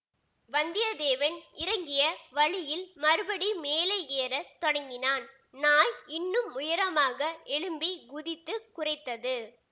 வந்தியத்தேவன் இறங்கிய வழியில் மறுபடி மேலே ஏற தொடங்கினான் நாய் இன்னும் உயரமாக எழும்பிக் குதித்து குரைத்தது